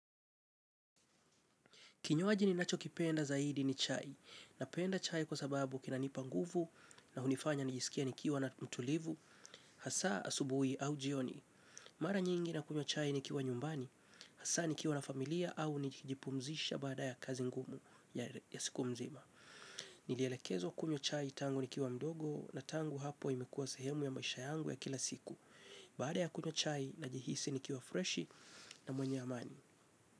Kinywaji ninacho kipenda zaidi ni chai, napenda chai kwa sababu kina nipanguvu na hunifanya nijisikie nikiwa na mtulivu, hasaa asubuhi au jioni. Mara nyingi nakunywa chai nikiwa nyumbani, hasa nikiwa na familia au nikijipumzisha baada ya kazi ngumu ya siku mzima. Nilielekezwa kunywa chai tangu nikiwa mdogo na tangu hapo imekuwa sehemu ya maisha yangu ya kila siku. Baada ya kunywa chai najihisi nikiwa freshi na mwenye amani.